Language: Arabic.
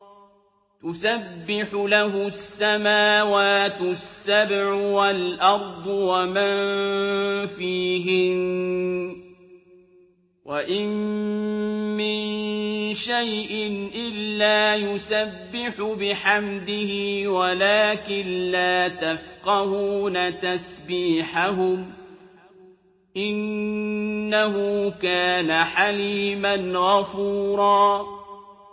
تُسَبِّحُ لَهُ السَّمَاوَاتُ السَّبْعُ وَالْأَرْضُ وَمَن فِيهِنَّ ۚ وَإِن مِّن شَيْءٍ إِلَّا يُسَبِّحُ بِحَمْدِهِ وَلَٰكِن لَّا تَفْقَهُونَ تَسْبِيحَهُمْ ۗ إِنَّهُ كَانَ حَلِيمًا غَفُورًا